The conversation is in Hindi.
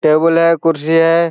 टेबल है कुर्सी है।